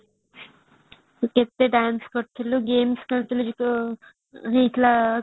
କେତେ dance କରୁଥିଲୁ game ଖେଳୁଥିଲୁ ଯୋଉ ତୋର ହେଇଥିଲା collegeର